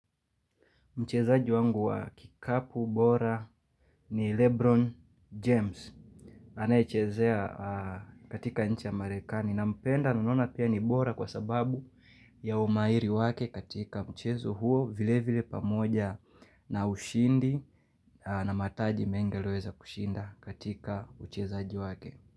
Mchezaji wangu wa kikapu bora ni Lebron James. Anayechezea katika nchi ya Marekani. Nampenda na naona pia ni bora kwa sababu ya umahiri wake katika mchezo huo vile vile pamoja na ushindi na mataji mengi aliyoweza kushinda katika uchezaji wake.